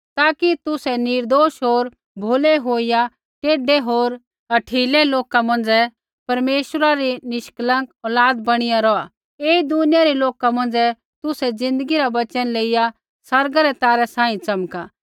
ताकि तुसै निर्दोष होर भोलै होईया टेढै होर हठीले लोक मौंझ़ै परमेश्वरा री निष्कलंक औलाद बणीया रौहा ऐई दुनिया रै लोका मौंझ़ै तुसै ज़िन्दगी रा वचन लेइया आसमाना रै तारै सांही च़मका